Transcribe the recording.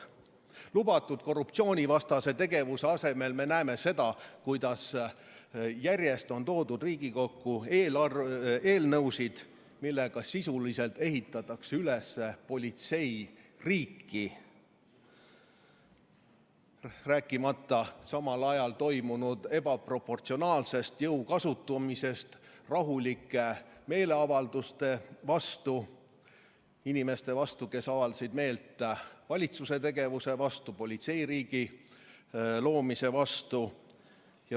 Lubatud korruptsioonivastase tegevuse asemel me näeme seda, kuidas järjest on toodud Riigikokku eelnõusid, millega sisuliselt ehitatakse üles politseiriiki, rääkimata samal ajal toimunud ebaproportsionaalsest jõu kasutamisest rahulike meeleavaldajate vastu, inimeste vastu, kes avaldasid meelt valitsuse tegevuse vastu, politseiriigi loomise vastu.